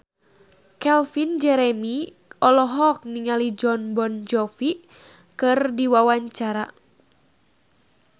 Calvin Jeremy olohok ningali Jon Bon Jovi keur diwawancara